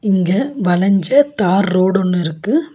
இங்க வளஞ்ச tar road ஒன்னு இருக்கு.